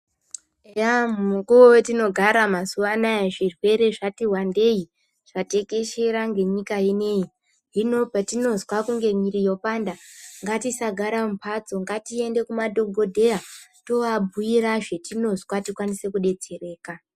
Yaaa mukuwo watinogara mazuwa anaa zvirwere zvati wandei zvatekeshera ngenyika inei hino patinozwa kunge miri yopanda ngatisagara mumhatso ngatiende kumadhokodheya tooabhiira zvatinozwa tikwanise kudetsereka.